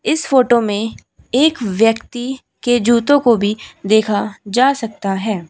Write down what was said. इस फोटो में एक व्यक्ति के जूतो को भी देखा जा सकता है।